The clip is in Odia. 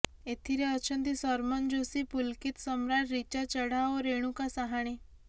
ଏଥିରେ ଅଛନ୍ତି ସରମନ ଯୋଶୀ ପୁଲକିତ ସମ୍ରାଟ ରୀଚା ଚଢ଼ା ଓ ରେଣୁକା ସାହାଣେ